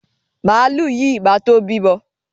Màlúù yìí ma tó bímọ.